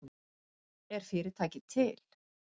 Er fyrirtækið til